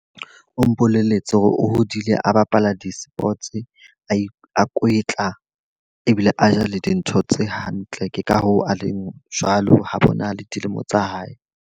O mpolelletse hore o hodile a bapala di-sports, a e a kwetla ebile a ja le dintho tse hantle. Ke ka hoo a leng jwalo ha bonahale dilemo tsa hae.